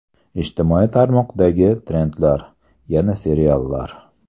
Ijtimoiy tarmoqlardagi trendlar: Yana seriallar.